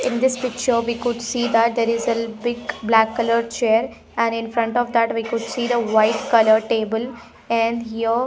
In this picture we could see that there is a big black color chair and in front of that we could see the white color table and here --